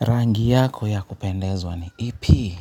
Rangi yako ya kupendezwa ni ipi?